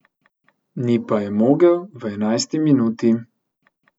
Ni pa je mogel v enajsti minuti.